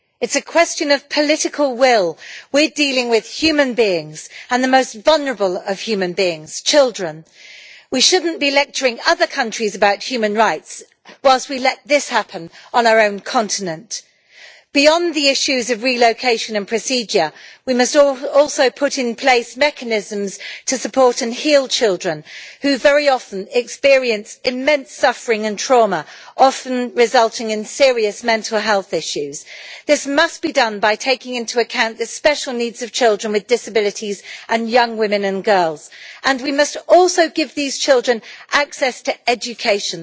It is a question of political will. We are dealing with human beings, and the most vulnerable of human beings, children. We should not be lecturing other countries about human rights whilst we let this happen on our own continent. Beyond the issues of relocation and procedure we must have put in place mechanisms to support and heal children who very often experience immense suffering and trauma, often resulting in serious mental health issues. This must be done by taking into account the special needs of children with disabilities, and young women and girls, and we must also give these children access to education.